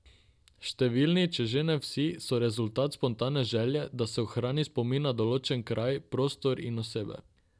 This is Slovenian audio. Številni, če že ne vsi, so rezultat spontane želje, da se ohrani spomin na določen kraj, prostor in osebe.